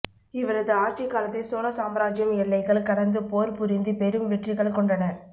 இவரது ஆட்சிக் காலத்தில் சோழ சாம்ராஜ்ஜியம் எல்லைகள் கடந்து போர் புரிந்து பெரும் வெற்றிகள் கொண்டன